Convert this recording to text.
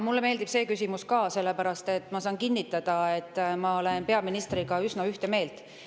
Mulle meeldib see küsimus ka, sest ma saan kinnitada, et ma olen peaministriga üsna ühte meelt.